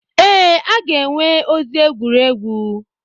Ee, a ga-enwe ozi egwuregwu.